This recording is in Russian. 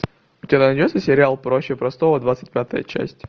у тебя найдется сериал проще простого двадцать пятая часть